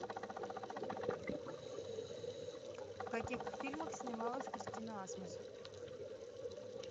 в каких фильмах снималась кристина асмус